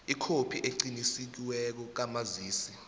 ikhophi eqinisekisiweko kamazisi